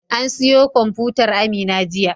An siyo kwamfutar Amina jiya.